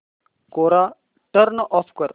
कोरा turn off कर